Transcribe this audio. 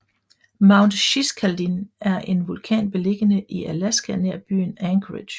Mount Shiskaldin er en vulkan beliggende i Alaska nær byen Anchorage